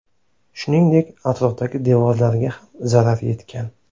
Shuningdek, atrofdagi devorlarga ham zarar yetgan.